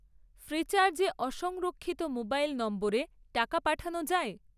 Freecharge এ অসংরক্ষিত mobile নম্বরে টাকা পাঠানো যায়?